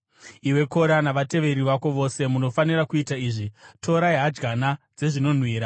Iwe Kora, navateveri vako vose munofanira kuita izvi: Torai hadyana dzezvinonhuhwira